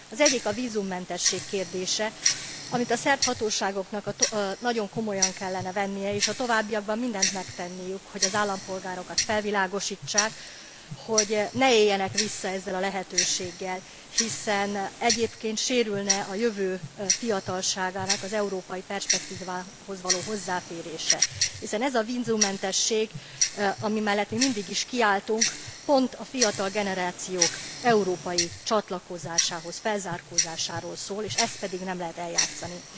Az egyik a vízummentesség kérdése, amit a szerb hatóságoknak nagyon komolyan kellene vennie és a továbbiakban mindent megtenniük, hogy az állampolgárokat felvilágosítsák, hogy ne éljenek vissza ezzel a lehetőséggel, hiszen egyébként sérülne a jövő fiatalságának az európai perspektívához való hozzáférése, hiszen ez a vízummentesség, ami mellett mindig is kiálltunk, pont a fiatal generációk európai csatlakozásához, felzárkózásáról szól, és ezt pedig nem lehet eljátszani.